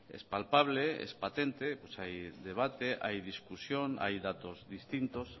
es palpable es patente hay debate hay discusión hay datos distintos